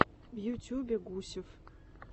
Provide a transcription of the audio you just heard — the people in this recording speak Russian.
в ютюбе гусев